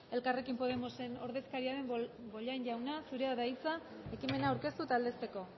elkarrekin podemosen ordezkaria den bollain jauna zurea da hitza ekimena aurkeztu eta aldezteko